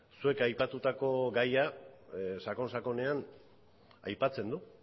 zuek aipatutako gaia sakonnsakonean aipatzen du